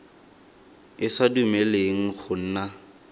e sa dumeleleng go nna